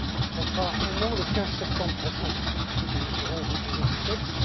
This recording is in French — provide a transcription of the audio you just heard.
cela fera un an le 15 septembre prochain, que nous aurons déposé ce texte.